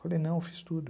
Falei, não, eu fiz tudo.